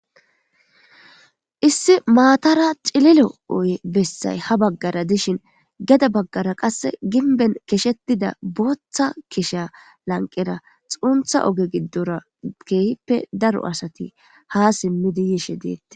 issi maatara cililo oye bessay ha baggara dishin geda baggara qasse ginben keshetida booththa keshea lanqera xuuntha oge giddorakeyppe daro asati ha simmidi yishe deette